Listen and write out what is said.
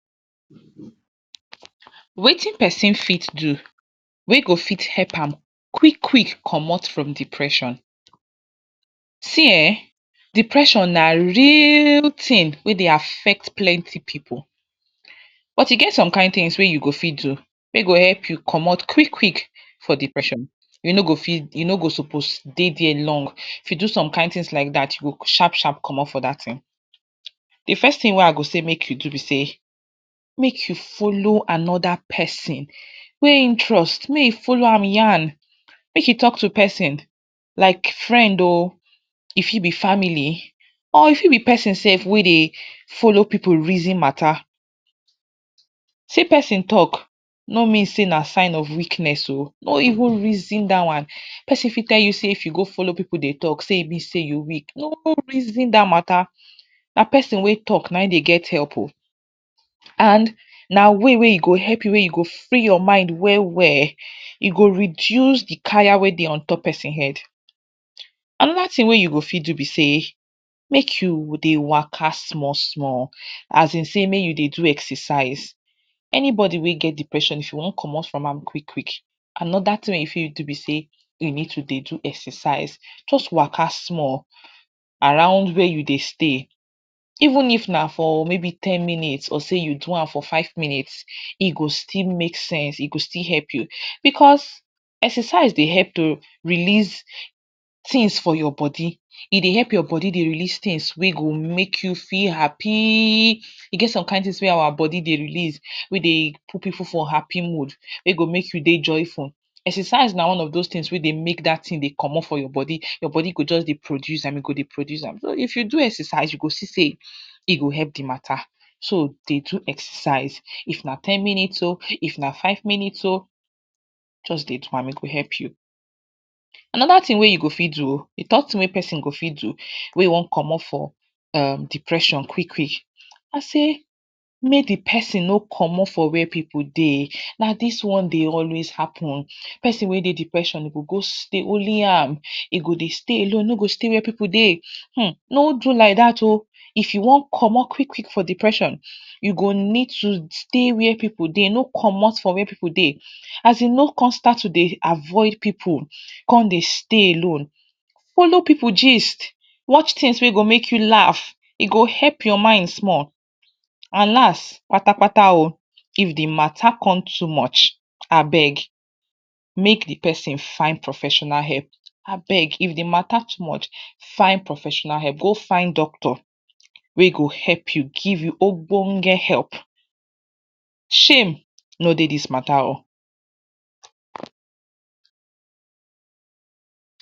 Wetin person fit do wey go fit help am quick quick commot from depression see[um]depression na real thing wey Dey affect plenty pipu but e get some kin things wey you go fit do wey go help you commot quick quick you no go suppose dey dia long if you do some kin things like dat you go sharp sharp commot from dat thing de first thing wey I go say make you do be sey make you follow another person wey ein trust make you follow am yarn make you talk to person like friend oo e fit be family of e fit be person sef wey Dey follow pipu reason matta sey person talk no mean sey na sign of weakness ooo no even reason dat one person fit tell you sey if you go follow person Dey talk sey you weak no reason dat Matta na person wey talk na im Dey get help oo and na way wey e go help you wey e go free your mind well well e go reduce de Kaya wey Dey on top person head another thing wey you go fit do be sey make you Dey waka small small as in sey make you Dey do excersice anybody wey get depression if you wan commot from am quick quick another thing wey you go fit do be sey you go fit do excercise just waka small around where you Dey stay even it na for maybe ten minutes or sey you do am for five minute e go still make sense e go still help you because excercise Dey help to release things for your body e Dey help your body Dey release things wey go make you feel happyyyy e get some kin things wey our body Dey release wey Dey put pipu for happy mood wey go make you Dey joyful excercise na one of dos things wey Dey make dat thing Dey commot for your body your body go just Dey produce am e go Dey produce am but if you do excercise you go see sey e go help de matta so Dey do excercise if na ten minute oo if na five minute oo just Dey do am e go help you Another thing wey you go fit do another thing wey person go fit do wey wan commot for depression quick quick na sey make de person no commot for where pipu Dey ba dis one Dey always happen person wey Dey depression go go stay only am e go Dey stay alone e no go stay where pipu Dey hmmm no do like dat oo if you wan commot quick quick for depression you go need to stay where pipu Dey no commot where pipu Dey asin no constant try to Dey avoid pipu come Dey stay alone follow pipu gist watch things wey go make you laugh e go help your mind small and last pata pata oo If de matta come too much abeg make de person find professional help abeg if de matta too much find professional help or go find doctor wey go help you give you Obonge help shame no Dey thing matta oo.